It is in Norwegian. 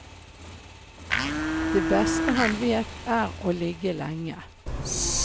Det beste han vet er å ligge lenge.